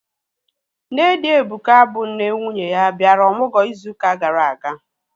Nne di Ebuka, bụ nne nwunye ya, bịara ọmụgwọ ịzụ ụka gara aga